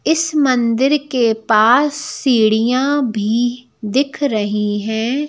इस मंदिर के पास सीढ़ियां भी दिख रही हैं।